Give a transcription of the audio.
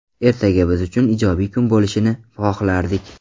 Ertaga biz uchun ijobiy kun bo‘lishini xohlardik.